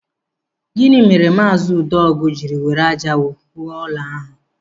Gịnị mere maazị Udeogu jiri were ájá ụrọ wuo ụlọ ahụ?